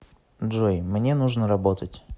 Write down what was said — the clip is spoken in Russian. джой мне нужно работать